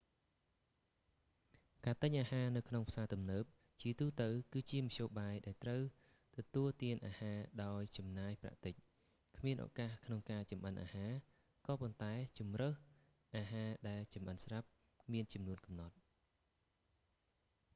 ការទិញអាហារនៅក្នុងផ្សារទំនើប ជាទូទៅ គឺជាមធ្យោបាយដែលត្រូវទទួលទានអាហារដោយចំណាយប្រាក់តិច គ្មានឱកាសក្នុងការចម្អិនអាហារ ក៏ប៉ុន្តែ ជម្រើសអាហារដែលចម្អិនស្រាប់ មានចំនួនកំណត់